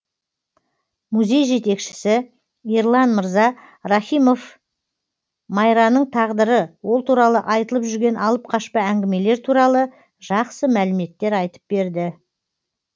музей жетекшісі ерлан мырза рахимов майраның тағдыры ол туралы айтылып жүрген алып қашпа әңгімелер туралы жақсы мәліметтер айтып берді